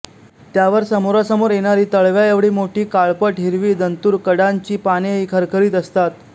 त्यावर समोरासमोर येणारी तळव्या एवढी मोठी काळपट हिरवी दंतूर कडांची पानेही खरखरीत असतात